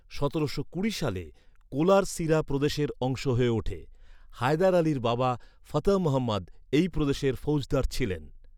সতেরোশো কুড়ি সালে, কোলার সিরা প্রদেশের অংশ হয়ে ওঠে। হায়দার আলীর বাবা, ফতহ মহম্মদ এই প্রদেশের ফৌজদার ছিলেন।